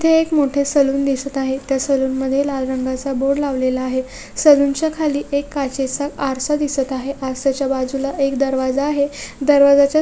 इथे एक मोठ सलून दिसत आहे त्या सलूनमध्ये लाल रंगाचा बोर्ड लावलेला आहे सलूनच्या खाली एक काचेचा आरसा दिसत आहे आरस्याच्या बाजूला एकदा दरवाजा आहे दरवाजाच्या--